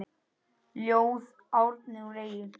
Ljóð: Árni úr Eyjum